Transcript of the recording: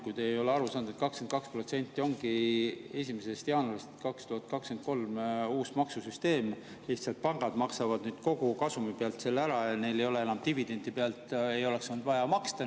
Kui te ei ole aru saanud, siis 22% ongi 1. jaanuarist 2023 uus maksusüsteem, lihtsalt pangad maksavad nüüd kogu kasumi pealt selle ära, dividendi pealt ei oleks olnud vaja maksta.